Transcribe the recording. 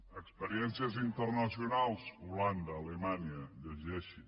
experiències internacionals holanda alemanya llegeixin